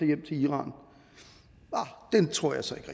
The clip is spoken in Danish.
hjem til iran det tror jeg så ikke